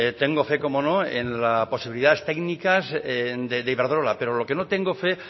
tengo fe cómo no en la posibilidades técnicas de iberdrola pero lo que no tengo fe